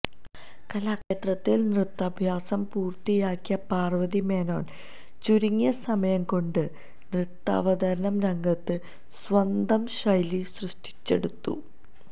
കലാക്ഷേത്രയില് നൃത്യാഭ്യാസം പൂര്ത്തിയാക്കിയ പാര്വതി മേനോന് ചുരുങ്ങിയ സമയം കൊണ്ട് നൃത്താവതരണ രംഗത്ത് സ്വന്തം ശൈലി സൃഷ്ടിച്ചെടുത്തു